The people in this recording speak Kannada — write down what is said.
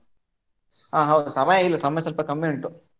ಹಾ ಹೌದು ಸಮಯ ಇಲ್ಲಾ, ಹಾ ಸಮಯ ಸ್ವಲ್ಪ ಕಮ್ಮಿ ಉಂಟು.